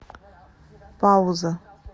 пауза